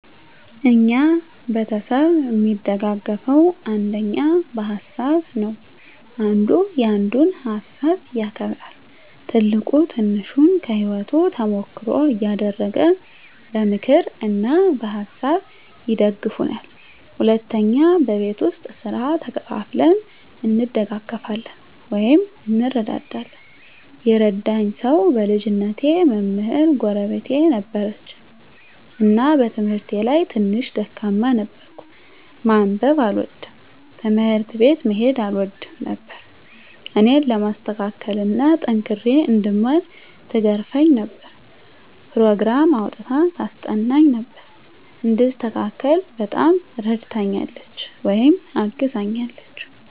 እኛ ቤተሰብ እሚደጋገፈዉ አንደኛ በሀሳብ ነዉ። አንዱ ያንዱን ሀሳብ ያከብራል፣ ትልቁ ትንሹን ከህይወቱ ተሞክሮ እያደረገ በምክር እና በሀሳብ ይደግፉናል። ሁለተኛ በቤት ዉስጥ ስራ ተከፋፍለን እንደጋገፋለን (እንረዳዳለን) ። የረዳኝ ሰዉ በልጅነቴ መምህር ጎረቤት ነበረችን እና በትምህርቴ ላይ ትንሽ ደካማ ነበርኩ፤ ማንበብ አልወድም፣ ትምህርት ቤት መሄድ አልወድም ነበር እኔን ለማስተካከል እና ጠንክሬ እንድማር ትገርፈኝ ነበር፣ ኘሮግራም አዉጥታ ታስጠናኝ ነበር፣ እንድስተካከል በጣም እረድታኛለች(አግዛኛለች) ።